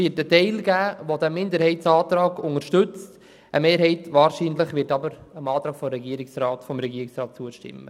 Ein Teil der Fraktion wird den Minderheitsantrag unterstützen, eine Mehrheit wird aber wahrscheinlich dem Antrag des Regierungsrats zustimmen.